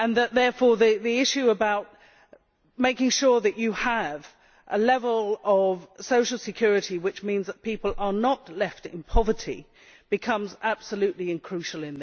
Therefore the issue of making sure that you have a level of social security which means that people are not left in poverty becomes absolutely crucial.